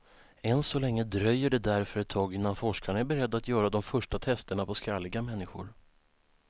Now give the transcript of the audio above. Än så länge dröjer det därför ett tag innan forskarna är beredda att göra de första testerna på skalliga människor.